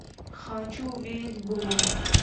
хочу увидеть блум